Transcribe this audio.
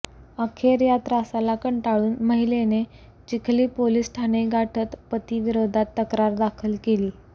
आखेर या त्रासाला कंटाळुन महिलेने चिखली पोलीस ठाणे गाठत पती विरोधात तक्रार दाखल केली